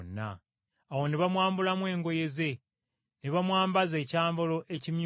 Awo ne bamwambulamu engoye ze, ne bamwambaza ekyambalo ekimyufu,